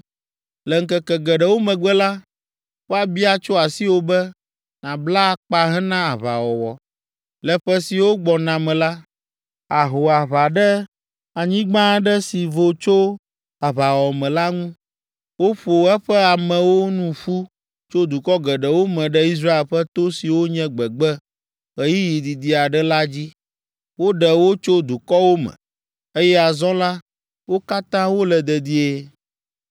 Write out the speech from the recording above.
Le ŋkeke geɖewo megbe la, woabia tso asiwò be, nàbla akpa hena aʋawɔwɔ. Le ƒe siwo gbɔna me la, àho aʋa ɖe anyigba aɖe si vo tso aʋawɔwɔ me la ŋu, woƒo eƒe amewo nu ƒu tso dukɔ geɖewo me ɖe Israel ƒe to siwo nye gbegbe ɣeyiɣi didi aɖe la dzi. Woɖe wo tso dukɔwo me, eye azɔ la, wo katã wole dedie.